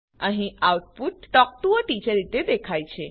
અહીં આઉટપુટTalk ટીઓ એ ટીચર રીતે દેખાય છે